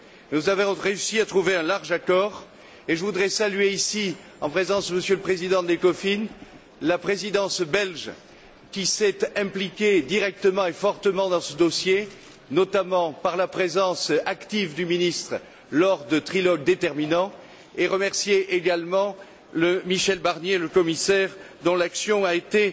Nous avons réussi à trouver un large accord et je voudrais saluer ici, en présence du président de l'Ecofin, la Présidence belge qui s'est impliquée directement et fortement dans ce dossier, notamment par la présence active du ministre lors de trilogues déterminants, et remercier également le commissaire Michel Barnier, dont l'action a été